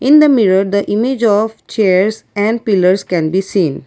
in the mirror the image of chairs and pillars can be seen.